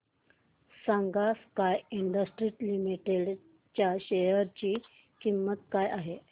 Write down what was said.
सांगा sky industries limited च्या share ची किंमत काय आहे